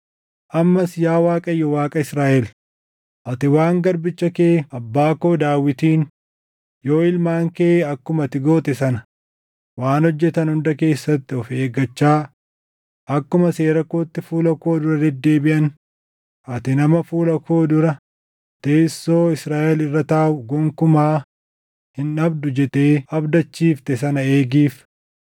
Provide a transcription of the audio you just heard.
“Ammas yaa Waaqayyo Waaqa Israaʼel, ati waan garbicha kee abbaa koo Daawitiin, ‘Yoo ilmaan kee akkuma ati goote sana waan hojjetan hunda keessatti of eeggachaa, akkuma seera kootti fuula koo dura deddeebiʼan, ati nama fuula koo dura teessoo Israaʼel irra taaʼu gonkumaa hin dhabdu’ jettee abdachiifte sana eegiif.